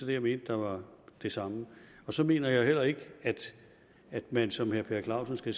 det jeg mente var det samme så mener jeg heller ikke at man som herre per clausen